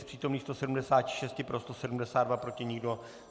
Z přítomných 176 pro 172, proti nikdo.